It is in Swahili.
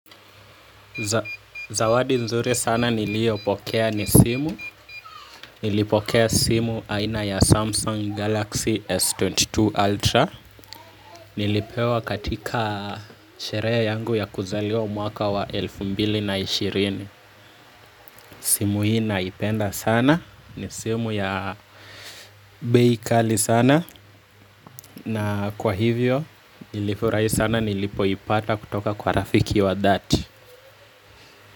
Zawadi nzuri sana niliyo pokea ni simu, nilipokea simu aina ya Samsung Galaxy S22 Ultra. Nilipewa katika sherehe yangu ya kuzaliwa mwaka wa elfu mbili na ishirini. Simu hii naipenda sana ni simu ya bei kali sana. Na kwa hivyo nilifurahi sana nilipoipata kutoka kwa rafiki wa dhati.